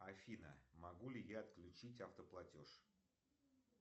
афина могу ли я отключить автоплатеж